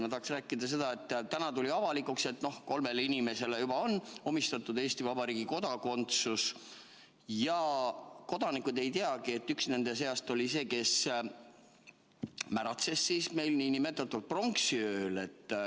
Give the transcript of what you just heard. Ma tahan rääkida sellest, et täna tuli avalikuks, et kolmele inimesele on juba antud Eesti Vabariigi kodakondsus, aga meie kodanikud ei teagi, et üks nende seast oli see, kes märatses pronksiööl.